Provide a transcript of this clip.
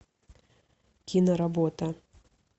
киноработа